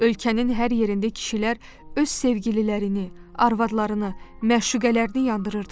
Ölkənin hər yerində kişilər öz sevgililərini, arvadlarını, məşuqələrini yandırırdılar.